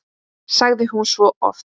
sagði hún svo oft.